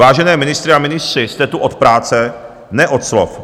Vážené ministryně a ministři, jste tu od práce, ne od slov.